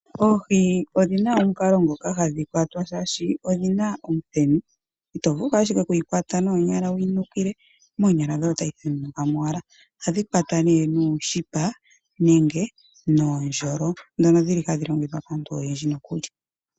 Oohi odhina omukalo ngoka hadhi kwatwa shaashi odhina omuthenu. Ito vulu ashike wuyi kwate noonyala wu yinukile, moonyala dhoye otayi the nunuka mo wala. Ohadhi kwatwa nee nuu shipa nenge noo ndjolo dhono dhili ta dhi longithwa kaantu oyendji nokuli.